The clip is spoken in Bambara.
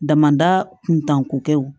Damada kuntanko kɛw